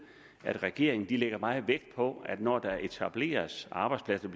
at regeringen lægger meget vægt på at der når der etableres arbejdspladser